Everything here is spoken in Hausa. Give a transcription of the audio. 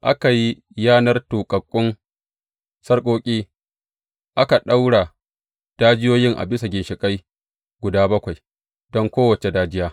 Aka yi yanar tuƙaƙƙun sarƙoƙi aka ɗaura dajiyoyin a bisa ginshiƙai guda bakwai don kowace dajiya.